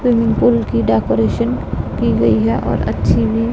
swimming pool की decoration की गई है और अच्छी भी--